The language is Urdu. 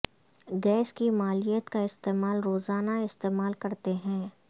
گیس کی مالیت کا استعمال روزانہ استعمال کرتے ہیں